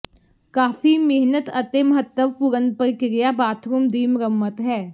ਕਾਫੀ ਮਿਹਨਤ ਅਤੇ ਮਹੱਤਵਪੂਰਨ ਪ੍ਰਕਿਰਿਆ ਬਾਥਰੂਮ ਦੀ ਮੁਰੰਮਤ ਹੈ